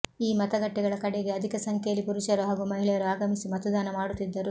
ಈ ಮತಗಟ್ಟೆಗಳ ಕಡೆಗೆ ಅಧಿಕ ಸಂಖ್ಯೆಯಲ್ಲಿ ಪುರುಷರು ಹಾಗೂ ಮಹಿಳೆಯರು ಆಗಮಿಸಿ ಮತದಾನ ಮಾಡುತ್ತಿದ್ದರು